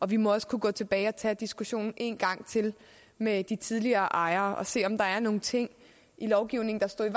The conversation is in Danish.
vi må også kunne gå tilbage og tage diskussionen en gang til med de tidligere ejere og se om der er nogle ting i lovgivningen der står i